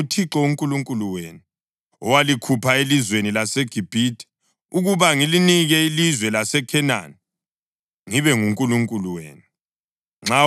Mina nginguThixo uNkulunkulu wenu owalikhupha elizweni laseGibhithe, ukuba ngilinike ilizwe laseKhenani, ngibe nguNkulunkulu wenu.